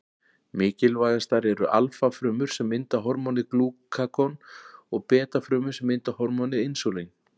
Mikilvægastar eru alfa-frumur sem mynda hormónið glúkagon og beta-frumur sem mynda hormónið insúlín.